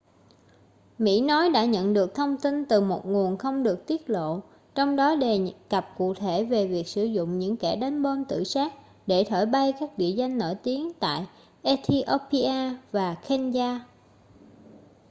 mỹ nói đã nhận được thông tin từ một nguồn không được tiết lộ trong đó đề cập cụ thể việc sử dụng những kẻ đánh bom tự sát để thổi bay các địa danh nổi tiếng tại ethiopia và kenya